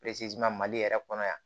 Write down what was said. mali yɛrɛ kɔnɔ yan